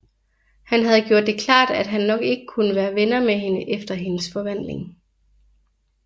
Han havde gjort det klart at han nok ikke kunne være venner med hende efter hendes forvandling